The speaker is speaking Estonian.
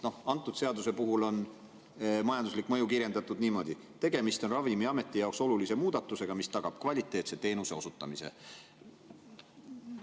Antud seaduse puhul on majanduslikku mõju kirjeldatud niimoodi: "Tegemist on Ravimiameti jaoks olulise muudatusega, mis tagab kvaliteetse teenuse osutamise.